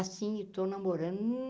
Assim eu estou namorando.